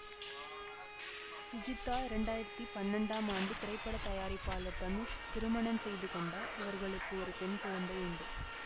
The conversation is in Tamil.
சுஜிதா இரண்டாயிரத்தி பன்னெண்டாம் ஆண்டு திரைப்பட தயாரிப்பாளர் தனுஷ் திருமணம் செய்து கொண்டார் இவர்களுக்கு ஒரு பெண் குழந்தை உண்டு